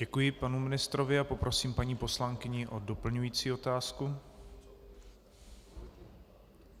Děkuji panu ministrovi a poprosím paní poslankyni o doplňující otázku.